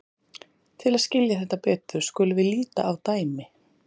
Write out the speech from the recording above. til að skilja þetta betur skulum við líta á dæmi